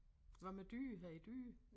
Hvad med dyr har I dyr?